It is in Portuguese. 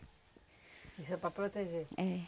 Isso é para proteger? É.